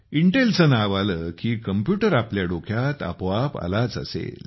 Intel चे नाव आले की कॉम्प्युटर आपल्या डोक्यात आपोआप आलाच असेल